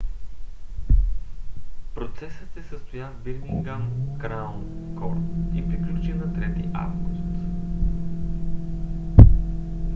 процесът се състоя в бирмингам краун корт и приключи на 3 август